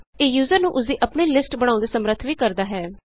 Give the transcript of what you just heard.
ਇਹ ਯੂਜ਼ਰ ਨੂੰ ਉਸਦੀ ਆਪਣੀ ਲਿਸਟਸ ਬਣਾਉਣ ਦੇ ਸਮੱਰਥ ਵੀ ਕਰਦਾ ਹੈ